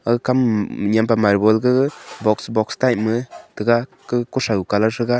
ag kam nyem pe marble gaga box box type ma tega kau kotho colour thega.